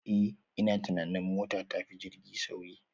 Eh ina tunanin mota tafi jirgi sauri